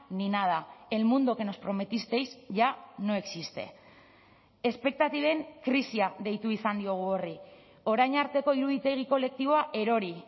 ni nada el mundo que nos prometisteis ya no existe espektatiben krisia deitu izan diogu horri orain arteko iruditegi kolektiboa erori